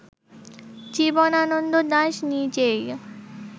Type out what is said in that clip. জীবনানন্দ দাশ নিজেই